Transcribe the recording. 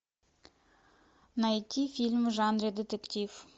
найти фильм в жанре детектив